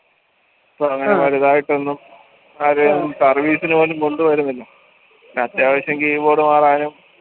വലുതായിട്ടൊന്നും service ന് പോലും കൊണ്ട് വരുന്നില്ല അത്യാവശ്യം keyboard മാറാനും